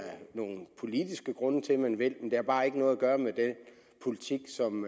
nogle politiske grunde til at man vil men det har bare ikke noget at gøre med den politik som